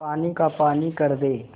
पानी का पानी कर दे